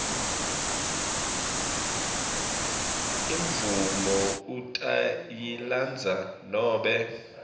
imvumo utayilandza nobe